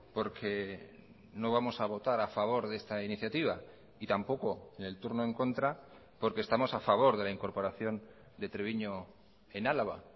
porque no vamos a votar a favor de esta iniciativa y tampoco en el turno en contra porque estamos a favor de la incorporación de treviño en álava